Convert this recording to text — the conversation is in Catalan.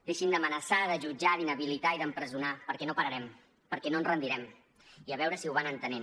deixin d’amenaçar de jutjar d’inhabilitar i d’empresonar perquè no pararem perquè no ens rendirem i a veure si ho van entenent